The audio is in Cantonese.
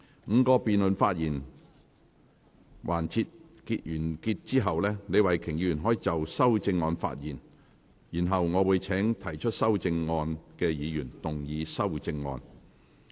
五個辯論環節完結後，李慧琼議員可就修正案發言，然後我會請提出修正案的議員動議修正案。